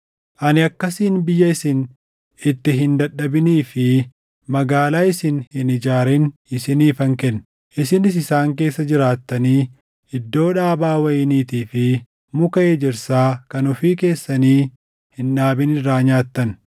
Ani akkasiin biyya isin itti hin dadhabinii fi magaalaa isin hin ijaarin isiniifan kenne; isinis isaan keessa jiraattanii iddoo dhaabaa wayiniitii fi muka ejersaa kan ofii keessanii hin dhaabin irraa nyaattan.’